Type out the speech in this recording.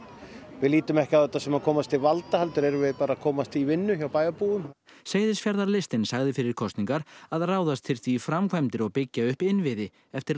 við lítum ekki á þetta sem að komast til valda heldur erum við að komast í vinnu hjá bæjarbúum seyðisfjarðarlistinn sagði fyrir kosningar að ráðast þyrfti í framkvæmdir og byggja upp innviði eftir